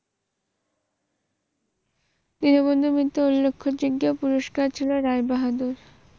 দীনবন্ধু মিত্রের উল্লেখযোগ্য পুরষ্কার ছিল রায়বাহাদুর।